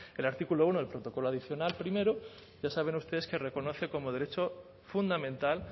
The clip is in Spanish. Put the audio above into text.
que el artículo uno el protocolo adicional primero ya saben ustedes que reconoce como derecho fundamental